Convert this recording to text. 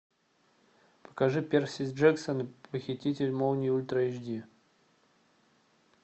покажи перси джексон похититель молний ультра эйч ди